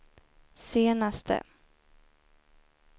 senaste